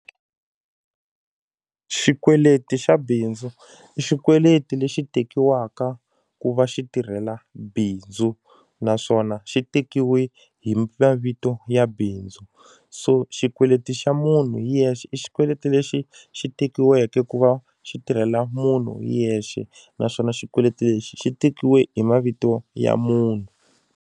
Xikweleti xa bindzu i xikweleti lexi tekiwaka ku va xi tirhela bindzu naswona xi tekiwe hi mavito ya bindzu so xikweleti xa munhu hi yexe i xikweleti lexi xi tekiweke ku va xi tirhela munhu hi yexe naswona xikweleti lexi xi tekiwe hi mavito ya munhu.